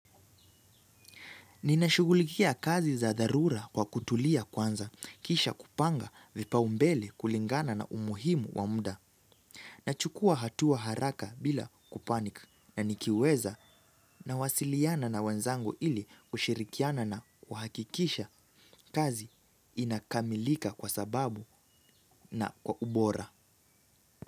Ninashugulikia kazi za dharura kwa kutulia kwanza, kisha kupanga vipaumbele kulingana na umuhimu wa muda, nachukua hatua haraka bila kupanik, na nikiweza nawasiliana na wenzangu ili kushirikiana na kuhakikisha kazi inakamilika kwa sababu na kwa ubora.